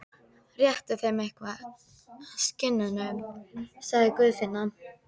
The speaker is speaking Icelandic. Réttu þeim eitthvað, skinnunum, sagði Guðfinna.